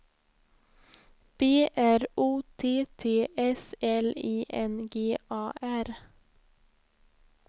B R O T T S L I N G A R